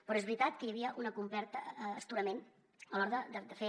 però és veritat que hi havia un complet astorament a l’hora de fer